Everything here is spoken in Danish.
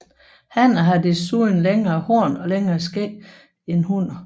Hanner har desuden længere horn og længere skæg end hunner